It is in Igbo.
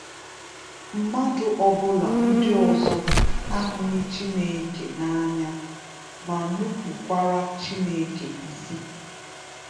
Mmadụ ọ bụla ndị ọzọ ahụghị Chineke na-anya ma nupukwara Chineke isi.